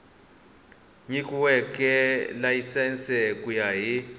nyikiweke layisense ku ya hi